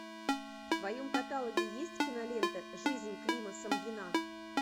в твоем каталоге есть кинолента жизнь клима самгина